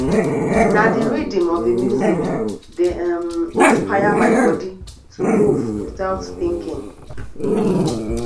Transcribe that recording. na the rhythm of the music dey um inspire my body to move without thinking